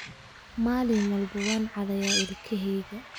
Maalin walba waan cadayaaa ilkaheyga